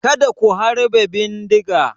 Kada ku harbe bindigar!